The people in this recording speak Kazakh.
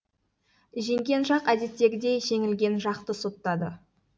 жеңген жақ әдеттегідей жеңілген жақты соттады